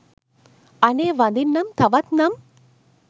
අනේ වඳින්නම් තවත් නම්